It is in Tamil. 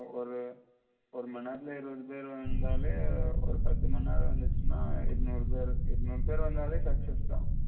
ஒரு மணி நேரத்தில இருநூறு பேர் வந்தாலே ஒரு பத்து மணிநேரம் வந்துச்சின்ன இருநூறு பேர் இருநூறு பேர் success தான்